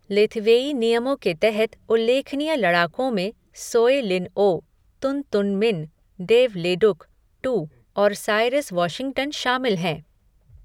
Lethwei नियमों के तहत उल्लेखनीय लड़ाकों में Soe Lin Oo, Tun Tun Min, Dave Leduc, Too और साइरस वाशिंगटन शामिल हैं।